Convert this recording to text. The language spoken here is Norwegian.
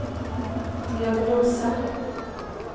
diagnose